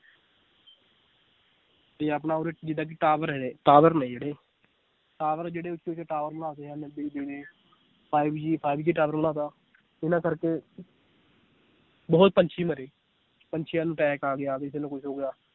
ਤੇ ਆਪਣਾ ਉਰ੍ਹੇ ਜਿਦਾਂ ਕਿ tower ਹੈ tower ਨੇ ਜਿਹੜੇ tower ਜਿਹੜੇ ਉਚੇ ਉਚੇ tower ਲਾ ਤੇ ਆ five G five G tower ਲਾ ਤਾ ਇਹਨਾਂ ਕਰਕੇ ਬਹੁਤ ਪੰਛੀ ਮਰੇ ਪੰਛੀਆਂ ਨੂੰ attack ਆ ਗਿਆ ਕਿਸੇ ਨੂੰ ਕੁਛ ਹੋ ਗਿਆ l